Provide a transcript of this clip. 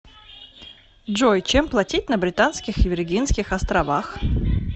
джой чем платить на британских виргинских островах